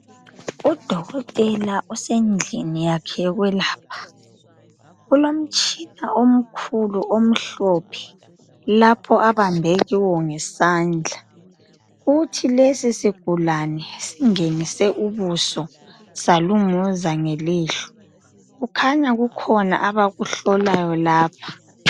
Udokotela usendlini yakhe yokwelapha. Ulomtshina omkhulu omhlophe lapho abambe kiwo ngezandla . Kuthi lesi sigulane singenise ubuso salunguza ngelihlo. Kukhanya kukhona abakuhlolayo lapha.